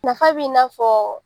Nafa b'i na fɔ